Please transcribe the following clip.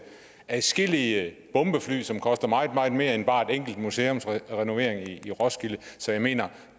adskillige bombefly som koster meget meget mere end bare en enkelt museumsrenovering i roskilde så jeg mener